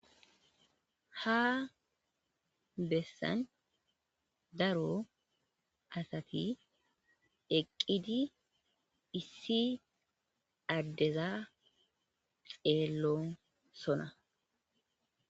Ha bessan daro asati eqqidi issi addeza xeellonsona.